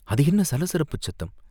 அது என்ன சலசலப்புச் சத்தம்?